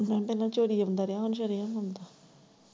ਮੈਂ ਕਿਹਾ ਪਹਿਲਾਂ ਚੋਰੀ ਆਉਂਦਾ ਰਿਹਾ, ਹੁਣ ਸਰਿਆਮ ਆਉਂਦਾ।